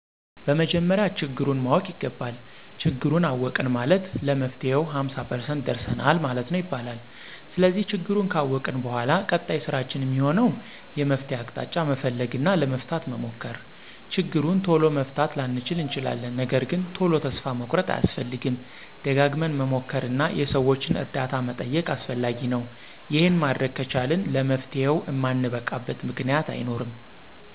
በመጀመሪያ ችግሩን ማወቅ ይገባል። ችግሩን አወቅን ማለት ለመፍትሄው ሃምሳ ፐርሰንት ደርሰናል ማለት ነው ይባላል። ስለዚህ ችግሩን ካወቅን በኃላ ቀጣይ ስራችን እሚሆነው የመፍትሄ አቅጣጫ መፈለግ እና ለመፍታት መሞከር። ችግሩን ቶሎ መፍታት ላንችል እንችላለን ነገርግን ቶሎ ተስፋ መቁረጥ አያስፈልግም። ደጋግመን መሞከር እና የሠዎችን እርዳታ መጠየቅ አስፈላጊ ነው። ይሄን ማድረግ ከቻልን ለመፍትሄው እማንበቃበት ምክንያት አይኖርም።